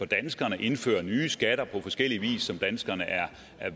danskerne indfører nye skatter på forskellig vis som danskerne er